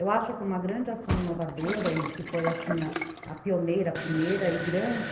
Eu acho que uma grande ação inovadora, e que foi assim, a pioneira, a primeira e grande,